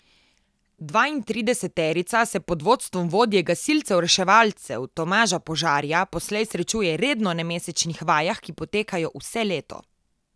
Dvaintrideseterica se pod vodstvom vodje gasilcev reševalcev Tomaža Požarja poslej srečuje redno na mesečnih vajah, ki potekajo vse leto.